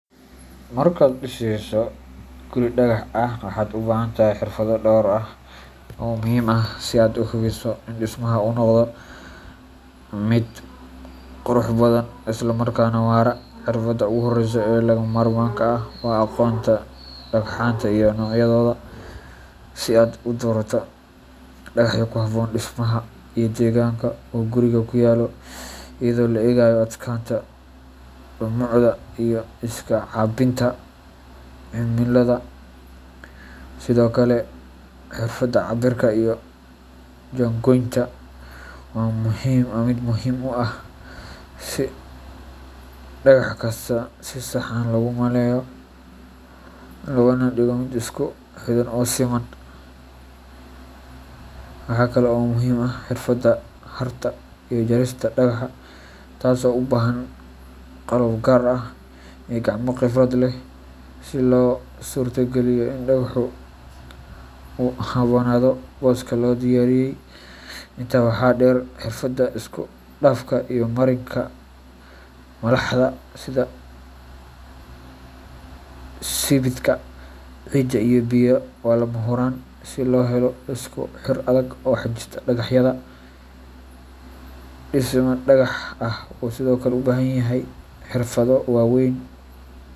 Markaad dhisayso guri dhagax ah, waxaad u baahan tahay xirfado dhowr ah oo muhiim ah si aad u hubiso in dhismaha uu noqdo mid adag, qurux badan, isla markaana waara. Xirfadda ugu horreysa ee lagama maarmaanka ah waa aqoonta dhagxanta iyo noocyadooda, si aad u doorato dhagaxyo ku habboon dhismaha iyo deegaanka uu gurigu ku yaallo, iyadoo la eegayo adkaanta, dhumucda, iyo iska caabbinta cimilada. Sidoo kale, xirfadda cabbirka iyo jaangooynta waa mid muhiim u ah si dhagax kasta si sax ah loogu meeleeyo, loogana dhigo mid isku xidhan oo siman. Waxaa kale oo muhiim ah xirfadda xardha iyo jarista dhagaxa, taas oo u baahan qalab gaar ah iyo gacmo khibrad leh si loo suurtageliyo in dhagaxu u habboonaado booska loo diyaariyay. Intaa waxaa dheer, xirfadda isku dhafka iyo mariinka malaxda sida sibidhka, ciidda iyo biyo waa lama huraan si loo helo isku xir adag oo xajista dhagaxyada. Dhisme dhagax ah wuxuu sidoo kale u baahan yahay xirfado waweyn.